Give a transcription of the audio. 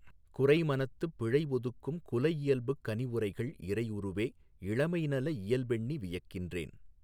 குறைமனத்துப் பிழைஒதுக்கும் குலஇயல்பு கனிவுரைகள் இறையுருவே! இளமைநல இயல்பெண்ணி வியக்கின்றேன்